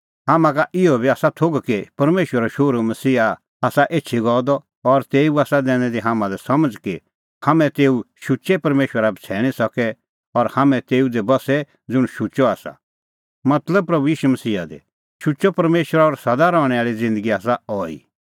हाम्हां का इहअ बी आसा थोघ कि परमेशरो शोहरू मसीहा आसा एछी गअ द और तेऊ आसा दैनी दी हाम्हां लै समझ़ कि हाम्हैं तेऊ शुचै परमेशरा बछ़ैणीं सके और हाम्हैं तेऊ दी बस्से ज़ुंण शुचअ आसा मतलब प्रभू ईशू मसीहा दी शुचअ परमेशर और सदा रहणैं आल़ी ज़िन्दगी आसा अहैई